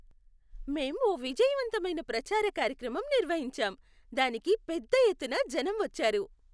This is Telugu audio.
మేం ఓ విజయవంతమైన ప్రచార కార్యక్రమం నిర్వహించాం, దానికి పెద్ద ఎత్తున జనం వచ్చారు.